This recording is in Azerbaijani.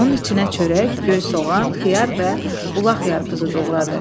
Onun içinə çörək, göy soğan, xiyar və bulaq yarpızı doğradı.